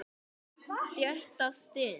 SJÖTTA STUND